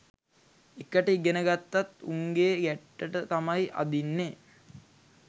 එකට ඉගෙන ගත්තත් උන්ගේ ගැට්ටට තමයි අදින්නෙ